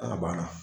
Ala banna